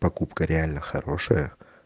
покупка реально хорошая